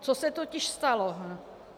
Co se totiž stalo?